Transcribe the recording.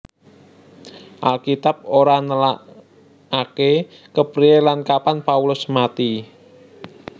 Alkitab ora nélakaké kepriyé lan kapan Paulus mati